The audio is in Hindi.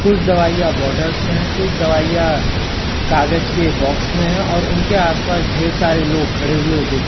कुछ दवाइयां बॉटल्स में है कुछ दवाइयां कागज के बॉक्स में हैं और उनके आस पास ढेर सारे लोग खड़े हुए दिख--